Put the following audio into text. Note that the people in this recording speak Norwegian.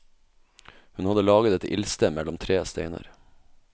Hun hadde laget et ildsted mellom tre steiner.